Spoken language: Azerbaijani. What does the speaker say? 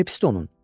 Nəyə pisdir onun?